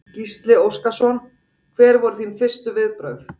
Gísli Óskarsson: Hver voru þín fyrstu viðbrögð?